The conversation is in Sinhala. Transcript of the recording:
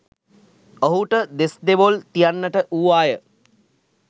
ඔහුට දෙස්‌දෙවොල් තියන්නට වූවාය.